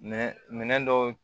Minɛn minɛn dɔw